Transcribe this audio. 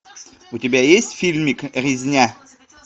у тебя есть фильмик резня